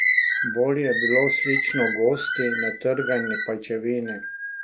Bolj je bilo slično gosti, natrgani pajčevini.